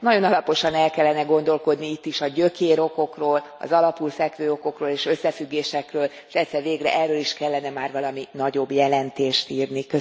Nagyon alaposan el kellene gondolkodni itt is a gyökérokokról, az alapul fekvő okokról és összefüggésekről, és egyszer végre erről is kellene már valami nagyobb jelentést írni.